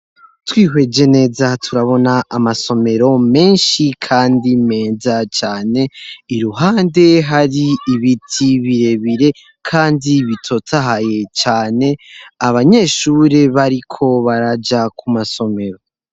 Twihweje neza turabona amasomero menshi kandi meza cane iruhande hari ibiti birebire kandi bitotahaye cane abanyeshuri bariko baraja ku masomero.